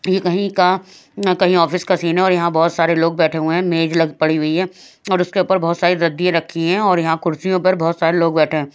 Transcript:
ये कहीं का न कहीं ऑफिस का सीन है और यहाँ बहोत सारे लोग बैठे हुए हैं मेज लग पड़ी हुई है और उसके ऊपर बहोत सारी रद्दिया रखी हैं और यहाँ कुर्सियों पर बहोत सारे लोग बैठे हैं।